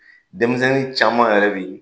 Denmisɛnnin caman yɛrɛ bi